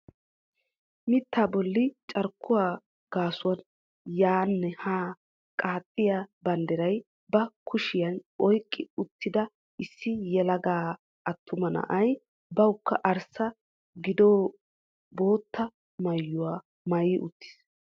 Mittaa bolli carkkuwaa gasuwan yaanne haa qaaxxiyaa banddiraa ba kushshiyaan oyqqi uttida issi yelaga attuma na'ay bawukka arssa gidaahe bootta maayuwaamaayi uttiis.